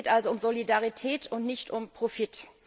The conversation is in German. Es geht also um Solidarität, und nicht um Profit.